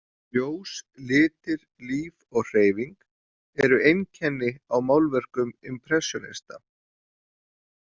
Ljós, litir, líf og hreyfing eru einkenni á málverkum impressjónista.